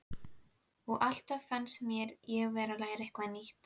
Og alltaf fannst mér ég vera að læra eitthvað nýtt.